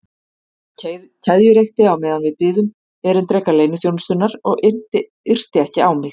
Hann keðjureykti á meðan við biðum erindreka leyniþjónustunnar og yrti ekki á mig.